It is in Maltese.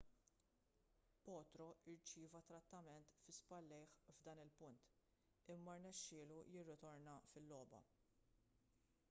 potro rċieva trattament fi spallejh f'dan il-punt imma rnexxielu jirritorna fil-logħba